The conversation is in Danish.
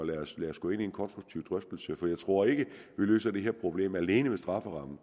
og vi kan tage en konstruktiv drøftelse af tingene for jeg tror ikke vi løser det her problem alene ved strafferammen